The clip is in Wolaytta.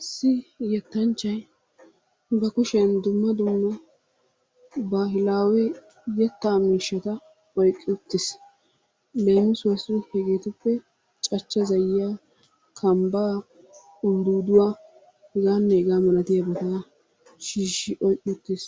Issi yetanchchay ba kushiyaan dumma dumma baahilaawe yetta miishshata oyqqi uttiis. Leemisuwassi hegetuppe cachcha zayyiya, kambnaa, uldduuduwa heganne hega malatiyaabata shiishi oyqqi uttiis.